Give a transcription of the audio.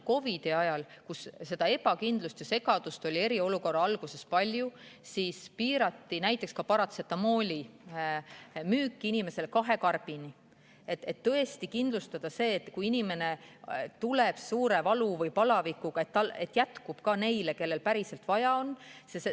COVID‑i ajal, kui ebakindlust ja segadust oli eriolukorra alguses palju, piirati näiteks paratsetamooli müüki ühele inimesele kahe karbini, et tõesti kindlustada see, et kui inimene tuleb suure valu või palavikuga, siis jätkub talle ja kõigile neile, kellel seda päriselt vaja on.